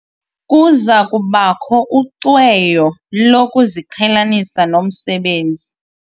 Kuza kubakho ucweyo lokuziqhelanisa nomsebenzi.